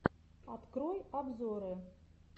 открой обзоры